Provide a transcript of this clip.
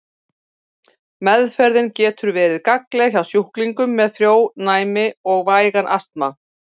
Meðferðin getur verið gagnleg hjá sjúklingum með frjónæmi og vægan astma.